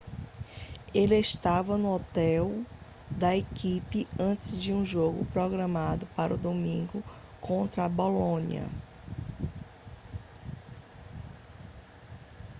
ele estava no hotel da equipe antes de um jogo programado para o domingo contra o bolonia